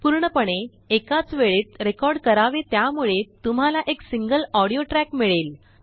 पूर्णपणे एकाचवेळेत रेकॉर्ड करावे त्यामुळे तुम्हाला एक सिंगल ऑडियो ट्रॅक मिळेल